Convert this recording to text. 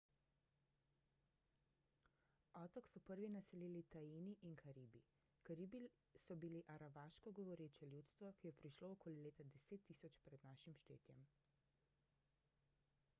otok so prvi naselili taini in karibi karibi so bili aravaško govoreče ljudstvo ki je prišlo okoli leta 10.000 pr n š